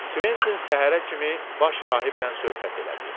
Kventin səhərə kimi baş rahiblə söhbət elədi.